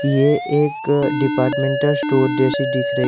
ये एक departmental store जैसी दिख रही --